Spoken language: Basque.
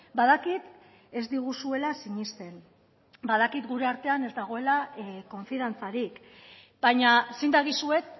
badakit ez diguzuela sinesten badakit gure artean ez dagoela konfiantzarik baina zin dagizuet